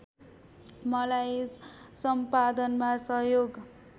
मलाई सम्पादनमा सहयोग